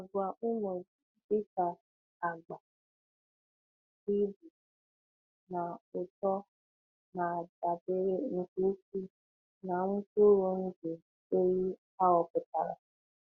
Àgwà ụmụ dịka agba, ibu, na uto na-adabere nke ukwuu na mkpụrụ ndụ ehi ahọpụtara.